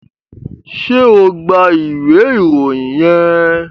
ṣe o gbà ìwé Ìròyìn yén?